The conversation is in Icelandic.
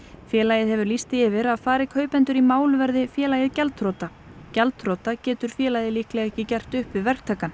félagið hefur lýst því yfir að fari kaupendur í mál verði félagið gjaldþrota gjaldþrota getur félagið líklega ekki gert upp við verktakann